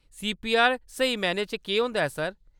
CPR स्हेई मैह्‌नें च केह्‌‌ होंदा ऐ, सर ?